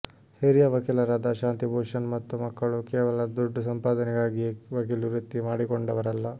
ಹಿರಿಯ ವಕೀಲರಾದ ಶಾಂತಿಭೂಷಣ್ ಮತ್ತು ಮಕ್ಕಳು ಕೇವಲ ದುಡ್ಡು ಸಂಪಾದನೆಗಾಗಿಯೇ ವಕೀಲಿ ವೃತ್ತಿ ಮಾಡಿಕೊಂಡವರಲ್ಲ